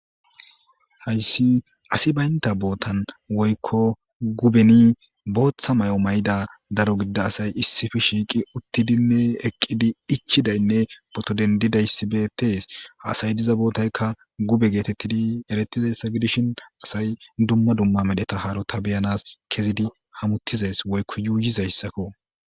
hayssi asi baynta bootan woykko gubeni booththa may7o mayda daro gidida asay issifi shiiqi uttidinne eqqidi ichidaynne potodendidayssibetees hasay diza bootaykka gube geetettidi eretize sagedishin asay dumma dumma medheta haarota beyanas kezidi hamuttizes woykko yuuyizayssakko